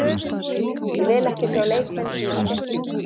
Ég vil ekki sjá leikmenn dýfa sér.